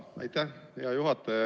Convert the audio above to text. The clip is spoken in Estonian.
Aitäh, hea juhataja!